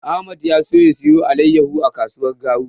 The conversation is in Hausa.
Ahmad ya so ya siyo alaiyahu a kasuwar Garu.